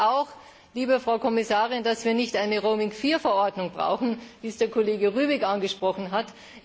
Ich hoffe auch, liebe Frau Kommissarin, dass wir nicht eine Roaming IV Verordnung brauchen, wie es der Kollege Rübig angesprochen hat.